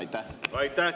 Aitäh!